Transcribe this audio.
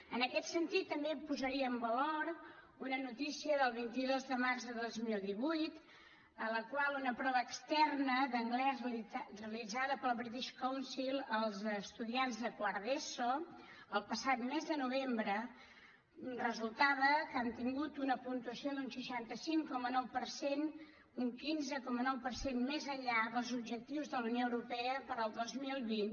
en aquest sentit també posaria en valor una noticia del vint dos de març de dos mil divuit en la qual en una prova externa d’anglès realitzada pel british council als estudiants de quart d’eso el passat mes de novembre resultava que han obtingut una puntuació d’un seixanta cinc coma nou per cent un quinze coma nou per cent més enllà dels objectius de la unió europea per al dos mil vint